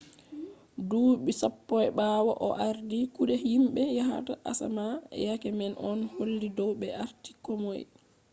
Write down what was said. duuɓi sappo ɓawo o ardi kuɗe himɓe yahata asama yake man on holli dow ɓe arti komoi